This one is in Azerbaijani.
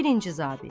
Birinci zabit.